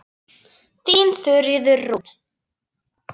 Þín Þuríður Rún.